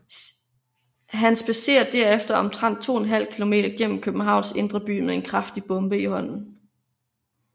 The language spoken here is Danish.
Han spadserer derefter omtrent to en halv kilometer gennem Københavns indre by med en kraftig bombe i hånden